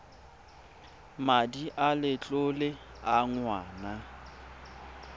madi a letlole a ngwana